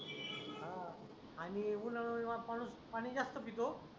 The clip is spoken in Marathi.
आणि उन्हाळेमुळे माणूस पाणी जास्त पितो.